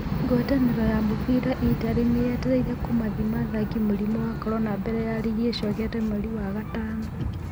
Ngwatanĩro ya mũbira Itarĩ nĩ yetereire kũmathima athaki mũrimũ wa Korona mbere ya rigi ĩcokete mweri wa gatano